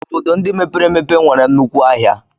Obodo ndị mepere emepe nwere nnukwu ahịa.